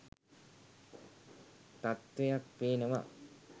තත්ත්වයක් පේනවා.